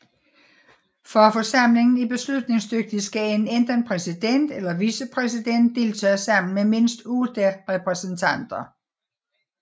For at forsamlingen er beslutningsdygtig skal en enten præsident eller vicepræsident deltage sammen med mindst otte repræsentanter